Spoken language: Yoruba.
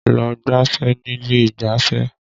Lọ gbáfẹ́ nílé ìgbáfẹ́!